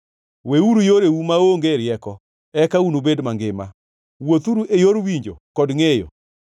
Weuru yoreu maonge rieko, eka unubed mangima, wuothuru e yor winjo kod ngʼeyo.